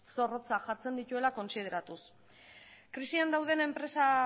zorrotzak jartzen dituela kontsideratuz krisian dauden enpresak